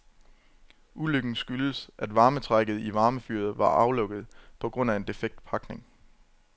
Ulykken skyldes, at varmetrækket i varmefyret var aflukket på grund af en defekt pakning.